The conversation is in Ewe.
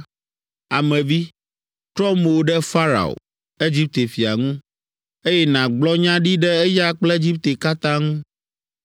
“Ame vi, trɔ mo ɖe Farao, Egipte fia ŋu, eye nàgblɔ nya ɖi ɖe eya kple Egipte katã ŋu.